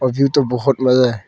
और ये तो बहुत मजा है।